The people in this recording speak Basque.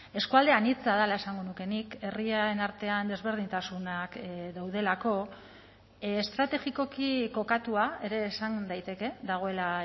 eskualde anitza dela esango nuke nik herriaren artean desberdintasunak daudelako estrategikoki kokatua ere esan daiteke dagoela